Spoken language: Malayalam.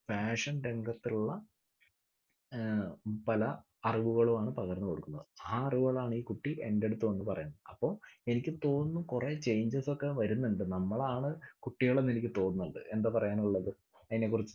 fashion രംഗത്തുള്ള ഏർ പല അറിവുകളുമാണ് പകർന്നു കൊടുക്കുന്നത്. ആ അറിവുകളാണ് ഈ കുട്ടി എന്റടുത്തു വന്ന് പറയുന്നത്. അപ്പൊ എനിക്ക് തോന്നുന്നു കുറെ changes ഒക്കെ വരുന്നുണ്ട്. നമ്മളാണ് കുട്ടികളെന്ന് എനിക്ക് തോന്നുന്നുണ്ട്. എന്താപറയാനുള്ളത് ഇതിനെക്കുറിച്ചു?